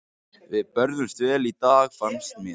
Við börðumst vel í dag fannst mér.